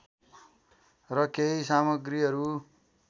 र केही सामग्रीहरू